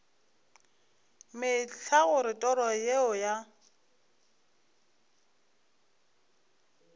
mehla gore toro yeo ya